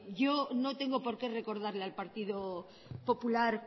yo no tengo porque recordarle al partido popular